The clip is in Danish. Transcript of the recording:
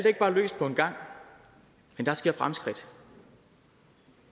ikke bare løst på en gang men der sker fremskridt